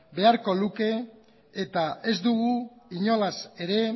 beharko luke eta ez dugu inolaz ere